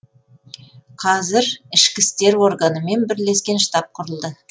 қазір ішкі істер органымен бірлескен штаб құрылды